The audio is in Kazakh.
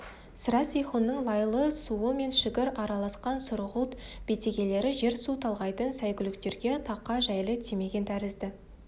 сірә сейхунның лайлы суы мен шігір араласқан сұрғылт бетегелері жер-су талғайтын сәйгүліктерге тақа жәйлі тимеген тәрізді